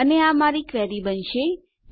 અને આ મારી ક્વેરી બનવા જઈ રહ્યું છે